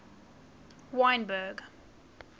wynberg